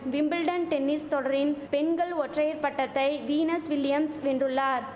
Wimbledon tennis தொடரின் பெண்கள் ஒற்றையர் பட்டத்தை வீனஸ் வில்லியம்ஸ் வென்றுள்ளார்